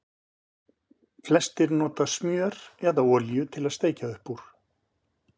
Flestir nota smjör eða olíu til að steikja upp úr.